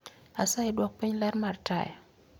Asayi duok piny ler mar taya